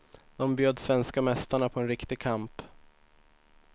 De bjöd svenska mästarna på en riktig kamp.